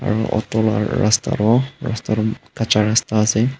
aro auto la rasta toh kacha rastaase.